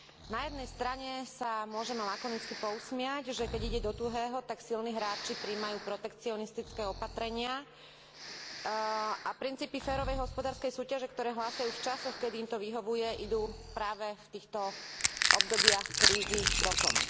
Na jednej strane sa môžeme lakonicky pousmiať, že keď ide do tuhého, tak silní hráči prijímajú protekcionistické opatrenia a princípy férovej hospodárskej súťaže, ktoré hlásajú v časoch, kedy im to vyhovuje, idú práve v týchto obdobiach krízy bokom.